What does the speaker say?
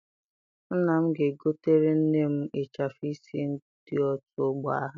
Nna m ga-egotere nne m ịchafụ isi ndị otu ọgbọ ha.